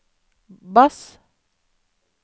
bass